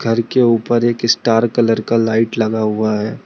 घर के ऊपर एक स्टार कलर का लाइट लगा हुआ है।